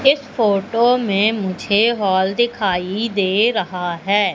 इस फोटो में मुझे हॉल दिखाई दे रहा हैं।